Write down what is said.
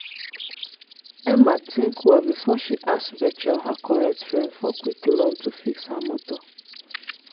emma think well before she ask rachel her correct friend for quick loan to fix her motor.